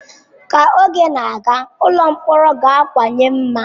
Ka oge na-aga, ụlọ mkpọrọ ga-akawanye mma.